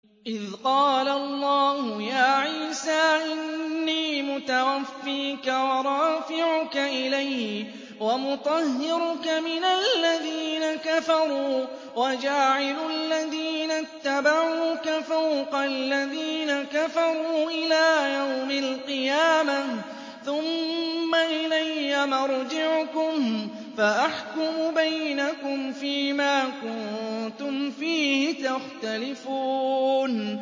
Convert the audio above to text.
إِذْ قَالَ اللَّهُ يَا عِيسَىٰ إِنِّي مُتَوَفِّيكَ وَرَافِعُكَ إِلَيَّ وَمُطَهِّرُكَ مِنَ الَّذِينَ كَفَرُوا وَجَاعِلُ الَّذِينَ اتَّبَعُوكَ فَوْقَ الَّذِينَ كَفَرُوا إِلَىٰ يَوْمِ الْقِيَامَةِ ۖ ثُمَّ إِلَيَّ مَرْجِعُكُمْ فَأَحْكُمُ بَيْنَكُمْ فِيمَا كُنتُمْ فِيهِ تَخْتَلِفُونَ